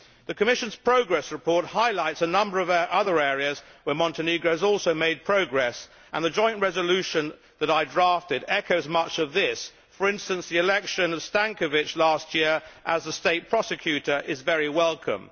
The Commission's progress report highlights a number of other areas where Montenegro has also made progress and the joint resolution that I drafted echoes much of this, for instance, the election of Stankovic last year as a state prosecutor is very welcome.